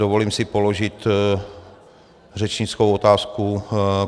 Dovolím si položit řečnickou otázku.